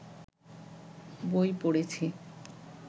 বই পড়েছি